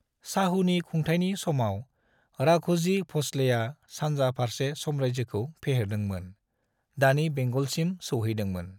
शाहूनि खुंथायनि समाव, राघोजी भोसलेया सानजा फारसे साम्रायजोखौ फेहेरदोंमोन, दानि बेंगलसिम सौहैदोंमोन।